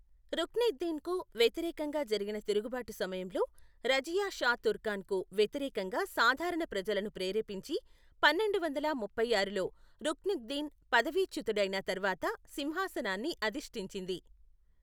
రుక్నుద్దీన్కు వ్యతిరేకంగా జరిగిన తిరుగుబాటు సమయంలో, రజియా షా తుర్కాన్కు వ్యతిరేకంగా సాధారణ ప్రజలను ప్రేరేపించి, పన్నెండు వందల ముప్పై ఆరులో, రుక్నుద్దీన్ పదవీచ్యుతుడైన తర్వాత సింహాసనాన్ని అధిష్టించింది.